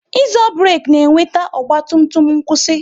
Ịzo burek na-eweta ọgba tum tum n'kwusi